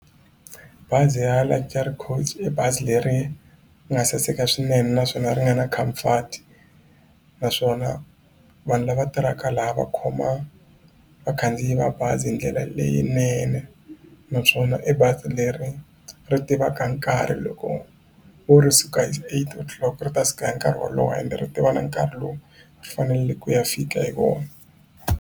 Bazi ra Luxury Coach i bazi leri nga saseka swinene naswona ri nga na comfort naswona vanhu lava tirhaka laha va khoma vakhandziyi va bazi hi ndlela leyinene naswona i bazi leri ri tivaka nkarhi loko vo ri suka hi eight o'clock ri ta suka hi nkarhi wolowo ende ri tiva na nkarhi lowu ri faneleke ku ya fika hi wona.